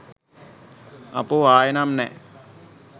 අපෝ ආයේ නම් නෑ